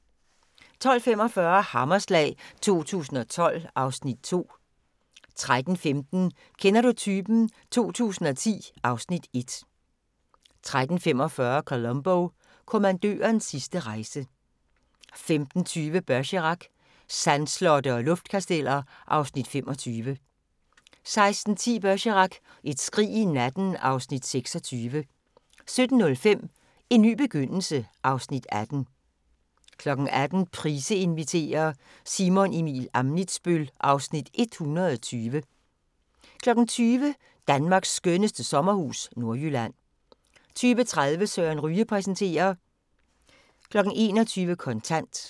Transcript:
12:45: Hammerslag 2012 (Afs. 2) 13:15: Kender du typen? 2010 (Afs. 1) 13:45: Columbo: Kommandørens sidste rejse 15:20: Bergerac: Sandslotte og luftkasteller (Afs. 25) 16:10: Bergerac: Et skrig i natten (Afs. 26) 17:05: En ny begyndelse (Afs. 18) 18:00: Price inviterer – Simon Emil Ammitzbøll (Afs. 120) 20:00: Danmarks skønneste sommerhus – Nordjylland 20:30: Søren Ryge præsenterer 21:00: Kontant